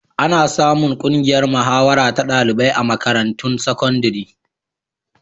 Ana samun ƙungiyar mahawara ta ɗalibai a makarantun sakandare.